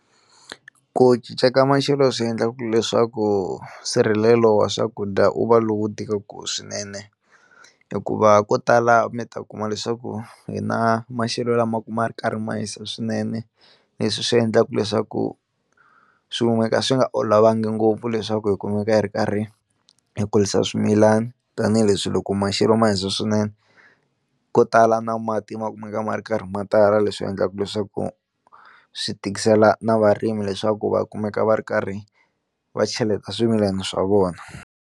Ku cinca ka maxelo swi endlaku leswaku nsirhelelo wa swakudya wu va lowu tikaka swinene hikuva ko tala mi ta kuma leswaku hi na maxelo lama u ma kuma ma ri karhi ma hisa swinene, leswi swi endlaka leswaku swi swi nga olovangi ngopfu leswaku hi kumeka hi ri karhi hi kurisa swimilani tanihileswi loko maxelo ma hisa swinene ko tala na mati ma kumeka ma ri karhi ma tala leswi endlaka leswaku swi tikisela na varimi leswaku va kumeka va ri karhi va cheleta swimilana swa vona.